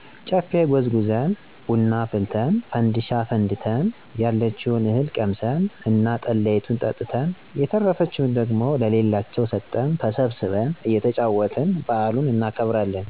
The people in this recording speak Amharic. ጨፌ ጎዝጉዘን፣ ብና አፍልተን፣ ፈንድሻ አፈንድተን፣ ያለችውን እህል ቀምሰን እና ጠላይቱን ጠጥተን የተረፈችውን ደግሞ ለሌላቸው ሰጠን ተሰብስበን እየተጫወትን በዓሉን እናከብራለን።